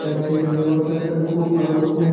ইটা আছে ওর সাথে সাথে খুব ভালো ফুল।